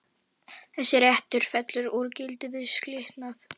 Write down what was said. Þessi réttur fellur úr gildi við skilnað.